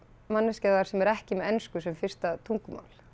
manneskjan þar sem er ekki með ensku sem fyrsta tungumál